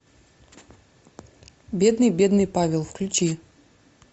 бедный бедный павел включи